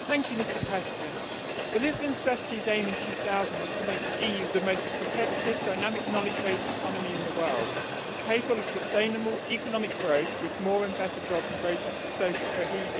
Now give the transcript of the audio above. Mr President, the Lisbon Strategy's aim in 2000 was to make the EU the most competitive and dynamic knowledge based economy in the world, capable of sustainable economic growth with more and better jobs and greater social cohesion.